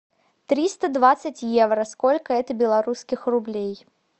триста двадцать евро сколько это белорусских рублей